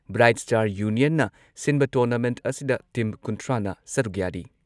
bright Star ꯌꯨꯅꯤꯌꯟꯅ ꯁꯤꯟꯕ tournament ꯑꯁꯤꯗ ꯇꯤꯝ ꯀꯨꯟꯊ꯭ꯔꯥꯅ ꯁꯔꯨꯛ ꯌꯥꯔꯤ